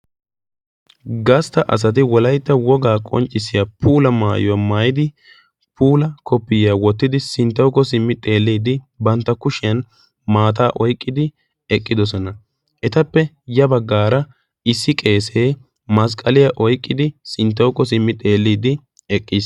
gastta asati wolaitta wogaa qonccissiya puula maayuwaa maayidi puula koppiyiyaa wottidi sinttauko simmi xeelliidi bantta kushiyan maataa oiqqidi eqqidosona. etappe ya baggaara issi qeesee masqqaliyaa oiqqidi sinttawuko simmi xeelliidi eqqiis.